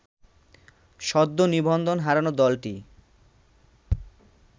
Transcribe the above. সদ্য নিবন্ধন হারানো দলটি